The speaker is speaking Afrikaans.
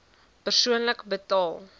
persoonlik betaal